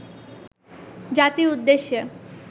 জাতির উদ্দেশ্যে